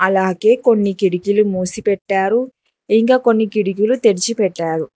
అలాగే కొన్ని కిటికీలు మూసి పెట్టారు ఇంకా కొన్ని కిటికీలు తెరిచి పెట్టారు.